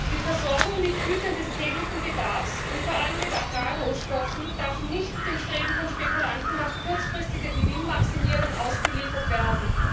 Die Versorgung mit Gütern des täglichen Bedarfs und vor allem mit Agrarrohstoffen darf nicht dem Streben von Spekulanten nach kurzfristiger Gewinnmaximierung ausgeliefert werden.